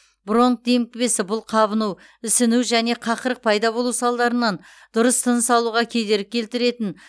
бронх демікпесі бұл қабыну ісіну және қақырық пайда болу салдарынан дұрыс тыныс алуға кедергі келтіретін